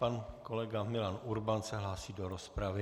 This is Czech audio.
Pan kolega Milan Urban se hlásí do rozpravy.